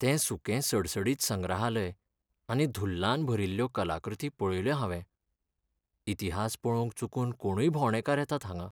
तें सुकें सडसडीत संग्रहालय आनी धुल्लान भरिल्ल्यो कलाकृती पळयल्यो हांवें. इतिहास पळोवंक चुकून कोणूय भोंवडेकार येतात हांगां.